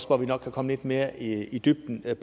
hvor vi nok kan komme lidt mere i i dybden med